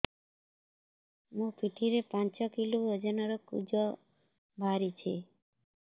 ମୋ ପିଠି ରେ ପାଞ୍ଚ କିଲୋ ଓଜନ ର କୁଜ ବାହାରିଛି